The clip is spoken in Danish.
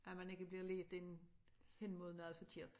At man ikke bliver lidt ind hen mod noget forkert